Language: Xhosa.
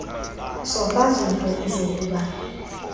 sofa zintle uzakuba